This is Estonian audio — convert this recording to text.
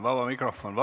Vaba mikrofon?